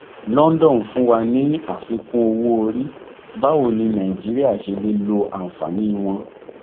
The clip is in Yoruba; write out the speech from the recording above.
london fún wa ní àfikún owó orí báwo ni nàìjíríà ṣe lè lo àǹfààní wọn